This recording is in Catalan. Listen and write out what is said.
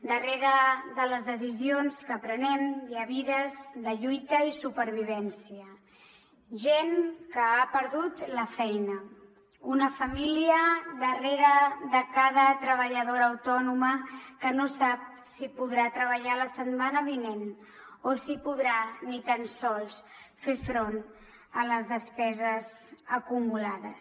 darrere de les decisions que prenem hi ha vides de lluita i supervivència gent que ha perdut la feina una família darrere de cada treballadora autònoma que no sap si podrà treballar la setmana vinent o si podrà ni tan sols fer front a les despeses acumulades